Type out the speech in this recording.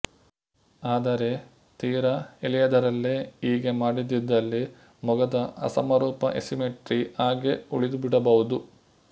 ಆದರೆ ತೀರ ಎಳೆಯದರಲ್ಲೇ ಹೀಗೆ ಮಾಡದಿದ್ದಲ್ಲಿ ಮೊಗದ ಅಸಮರೂಪ ಎಸಿಮೆಟ್ರಿ ಹಾಗೇ ಉಳಿದುಬಿಡಬಹುದು